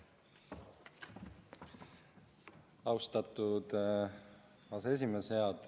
Austatud aseesimees!